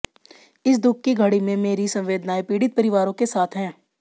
इस दुख की घड़ी में मेरी संवेदनाएं पीड़ित परिवारों के साथ हैं